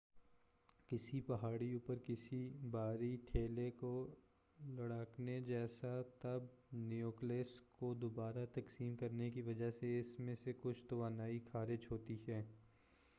کسی پہاڑی اوپر کسی بھاری ٹھیلے کو لڑھکانے جیسا تب نیوکلئس کو دوبارہ تقسیم کرنے کی وجہ سے اس میں سے کچھ توانائی خارج ہوتی ہے